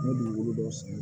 Ne dukolo dɔw san